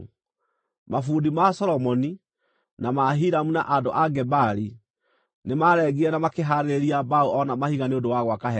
Mabundi ma Solomoni, na ma Hiramu, na andũ a Gebali, nĩmarengire na makĩhaarĩria mbaũ o na mahiga nĩ ũndũ wa gwaka hekarũ.